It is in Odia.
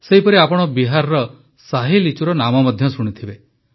ସେହିପରି ଆପଣ ବିହାରର ଶାହି ଲିଚୁର ନାମ ମଧ୍ୟ ଶୁଣିଥିବେ